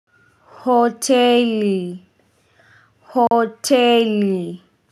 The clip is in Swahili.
Hoteli. Hoteli.